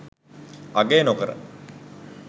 අගය නොකර